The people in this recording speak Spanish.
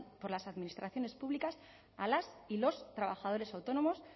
por las administraciones públicas a las y los trabajadores autónomos